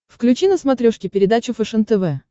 включи на смотрешке передачу фэшен тв